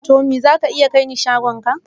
Tommy za ka iya kai ni shagon ka?